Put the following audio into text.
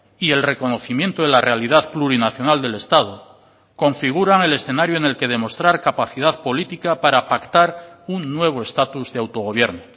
y el reconocimiento de la realidad plurinacional del estado configuran el escenario en el que demostrar capacidad política para pactar un nuevo estatus de autogobierno